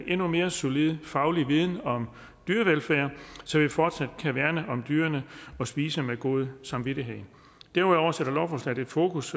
endnu mere solid faglig viden om dyrevelfærd så vi fortsat kan værne om dyrene og spise med god samvittighed derudover sætter lovforslaget et fokus